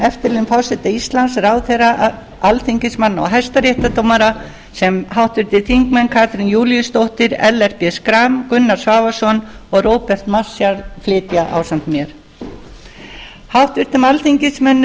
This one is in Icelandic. eftirlaun forseta íslands ráðherra alþingismanna og hæstaréttardómara sem háttvirtir þingmenn katrín júlíusdóttir ellert b schram gunnar svavarsson og róbert marshall flytja ásamt mér háttvirtum alþingismönnum er